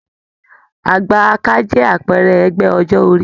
Àgbà-aka jẹ àpẹẹrẹ ẹgbẹ ọjọ orí.